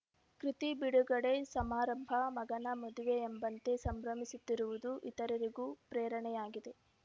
ಕೃತಿ ಬಿಡುಗಡೆ ಸಮಾರಂಭ ಮಗನ ಮದುವೆಯೆಂಬಂತೆ ಸಂಭ್ರಮಿಸುತ್ತಿರುವುದು ಇತರರಿಗೂ ಪ್ರೇರಣೆಯಾಗಿದೆ